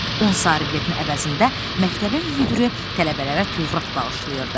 10 sarı biletin əvəzində məktəbin müdiri tələbələrə Tövrat bağışlayırdı.